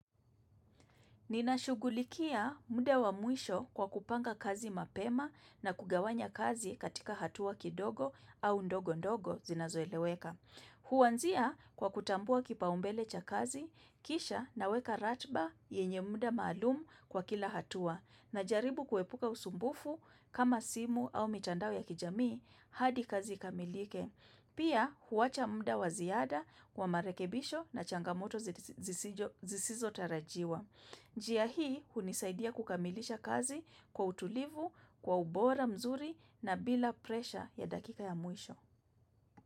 Ninashugulikia muda wa mwisho kwa kupanga kazi mapema na kugawanya kazi katika hatua kidogo au ndogo ndogo zinazoeleweka. Huaanzia kwa kutambua kipaumbele cha kazi, kisha naweka ratba yenye muda maalum kwa kila hatua, najaribu kuepuka usumbufu kama simu au mitandao ya kijamii hadi kazi ikamilike. Pia huacha muda wa ziada wa marekebisho na changamoto zisizo tarajiwa. Njia hii unisaidia kukamilisha kazi kwa utulivu, kwa ubora mzuri na bila presha ya dakika ya mwisho.